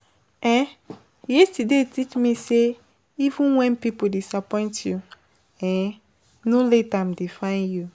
um Yesterday teach me say even when people disappoint you, um no let am define you.